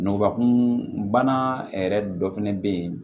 Ngubakun bana yɛrɛ dɔ fɛnɛ be yen